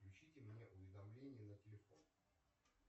включите мне уведомления на телефон